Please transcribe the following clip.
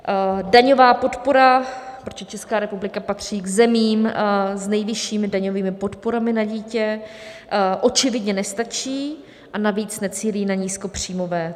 Daňová podpora, protože Česká republika patří k zemím s nejvyššími daňovými podporami na dítě, očividně nestačí, a navíc necílí na nízkopříjmové.